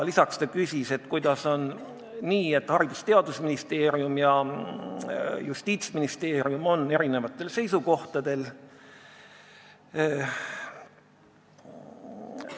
Lisaks küsis ta, kuidas on nii, et Haridus- ja Teadusministeerium ning Justiitsministeerium on eri seisukohtadel.